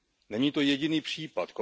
Není to jediný případ.